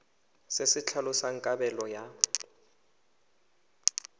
se se tlhalosang kabelo ya